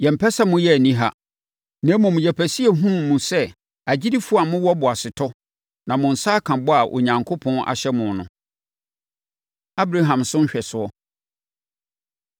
Yɛmpɛ sɛ moyɛ aniha. Na mmom, yɛpɛ sɛ yɛhunu mo sɛ agyidifoɔ a mowɔ boasetɔ na mo nsa aka bɔ a Onyankopɔn ahyɛ mo no. Abraham So Nhwɛsoɔ